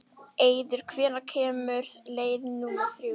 Eiður, hvenær kemur leið númer þrjú?